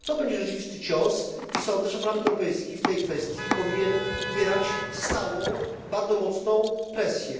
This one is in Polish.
To będzie rzeczywisty cios i sądzę, że Parlament Europejski w tej kwestii powinien wywierać stałą, bardzo mocną presję.